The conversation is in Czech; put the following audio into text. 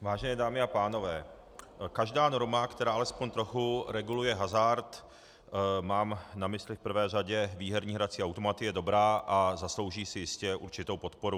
Vážené dámy a pánové, každá norma, která alespoň trochu reguluje hazard, mám na mysli v prvé řadě výherní hrací automaty, je dobrá a zaslouží si jistě určitou podporu.